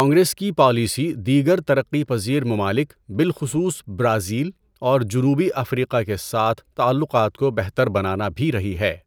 کانگریس کی پالیسی دیگر ترقی پذیر ممالک بالخصوص برازیل اور جنوبی افریقہ کے ساتھ تعلقات کو بہتر بنانا بھی رہی ہے۔